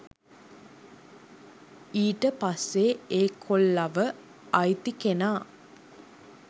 ඊට පස්සේ ඒ කොල්ලව අයිති කෙනා